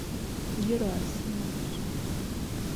герасимовой